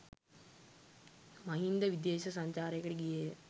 මහින්ද විදේශ සංචාරයකට ගියේය.